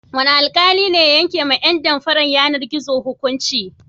Wane alƙali ne ya yankewa ƴan damfarar yanar-gizo hukunci?